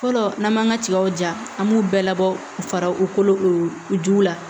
Fɔlɔ n'an m'an ka tigaw ja an b'u bɛɛ labɔ ka fara u kolo la